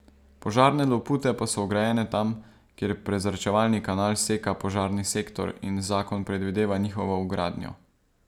Požarne lopute pa so vgrajene tam, kjer prezračevalni kanal seka požarni sektor in zakon predvideva njihovo vgradnjo.